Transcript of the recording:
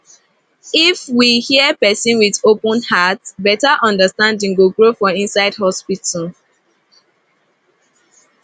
if we hear person with open heart better understanding go grow for inside hospital